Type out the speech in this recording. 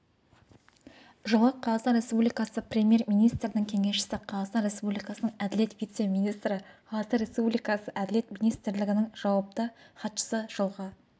жылы қазақстан республикасы премьер-министрінің кеңесшісі қазақстан республикасының әділет вице-министрі қазақстан республикасы әділет министрлігінің жауапты хатшысы жылғы